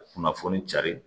Kunnafoni cari